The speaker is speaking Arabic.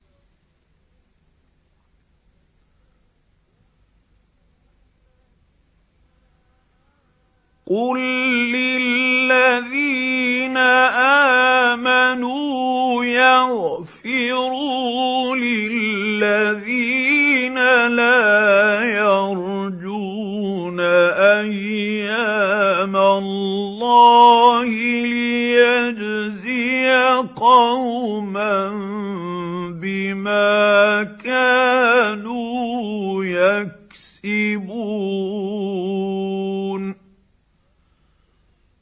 قُل لِّلَّذِينَ آمَنُوا يَغْفِرُوا لِلَّذِينَ لَا يَرْجُونَ أَيَّامَ اللَّهِ لِيَجْزِيَ قَوْمًا بِمَا كَانُوا يَكْسِبُونَ